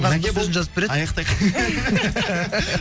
аяқтайық